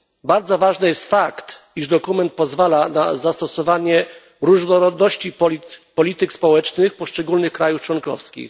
Bardzo ważny jest fakt, iż dokument pozwala na zastosowanie różnorodności polityk społecznych poszczególnych krajów członkowskich.